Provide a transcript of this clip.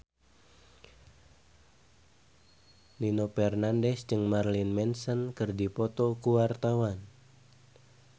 Nino Fernandez jeung Marilyn Manson keur dipoto ku wartawan